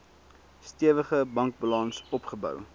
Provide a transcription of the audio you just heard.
stewige bankbalans opgebou